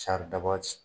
Saridaba ti